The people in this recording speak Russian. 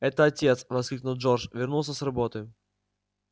это отец воскликнул джордж вернулся с работы